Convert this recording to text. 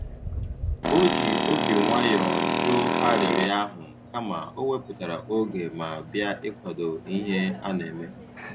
O ji obi nwayọ jụ arịrịọ ahụ, kama o wepụtara oge ma bịa ikwado ihe a na-eme.